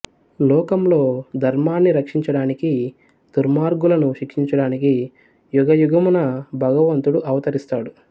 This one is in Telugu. లోకంలో ధర్మాన్ని రక్షించడానికి దుర్మార్గులను శిక్షించడానికి యుగయుగమున భగవంతుడు అవతరిస్తాడు